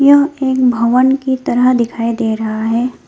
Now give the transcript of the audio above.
यह एक भवन की तरह दिखाई दे रहा है।